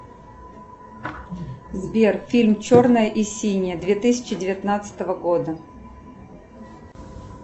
сбер фильм черное и синее две тысячи девятнадцатого года